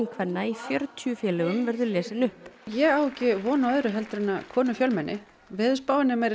kvenna í fjörutíu félögum verður lesin upp ég á ekki von á öðru en konur fjölmenni veðurspáin er meira að